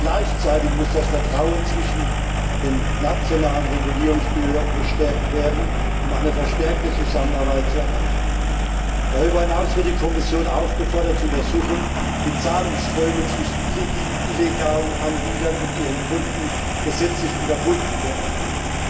Gleichzeitig muss das Vertrauen zwischen den nationalen Regulierungsbehörden gestärkt werden, um eine verstärkte Zusammenarbeit zu erreichen. Darüber hinaus wird die Kommission aufgefordert zu untersuchen, wie Zahlungsströme zwischen illegalen Anbietern und ihren Kunden gesetzlich unterbunden werden können.